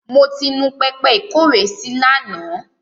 Mo ti nu pẹpẹ ìkówèésí lánàá.